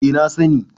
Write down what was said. eh na sani